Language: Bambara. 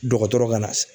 Dɔgɔtɔrɔ ka na